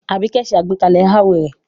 Abike ń ṣe àgbékalẹ̀ haur rẹ̀